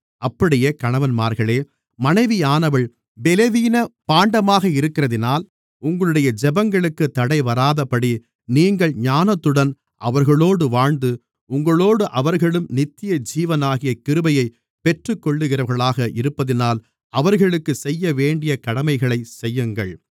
அப்படியே கணவன்மார்களே மனைவியானவள் பெலவீன பாண்டமாக இருக்கிறதினால் உங்களுடைய ஜெபங்களுக்குத் தடைவராதபடி நீங்கள் ஞானத்துடன் அவர்களோடு வாழ்ந்து உங்களோடு அவர்களும் நித்தியஜீவனாகிய கிருபையைப் பெற்றுக்கொள்ளுகிறவர்களாக இருப்பதினால் அவர்களுக்குச் செய்யவேண்டிய கடமைகளைச் செய்யுங்கள்